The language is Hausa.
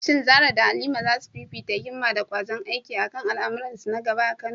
Shin Zarah da Halima za su fifita himma da ƙwazon aiki a kan al’amuransu na gaba a Kano?